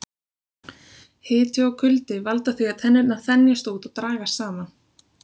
Hiti og kuldi valda því að tennurnar þenjast út og dragast saman.